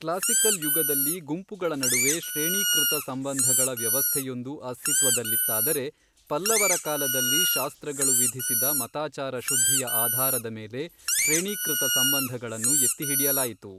Classical ಯುಗದಲ್ಲಿ ಗುಂಪುಗಳ ನಡುವೆ ಶ್ರೇಣೀಕೃತ ಸಂಬಂಧಗಳ ವ್ಯವಸ್ಥೆಯೊಂದು ಅಸ್ತಿತ್ವದಲ್ಲಿತ್ತಾದರೆ, ಪಲ್ಲವರ ಕಾಲದಲ್ಲಿ ಶಾಸ್ತ್ರಗಳು ವಿಧಿಸಿದ ಮತಾಚಾರ ಶುದ್ಧಿಯ ಆಧಾರದ ಮೇಲೆ ಶ್ರೇಣೀಕೃತ ಸಂಬಂಧಗಳನ್ನು ಎತ್ತಿಹಿಡಿಯಲಾಯಿತು.